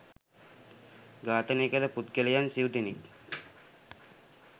ඝාතනය කල පුද්ගලයන් සිව් දෙනෙක්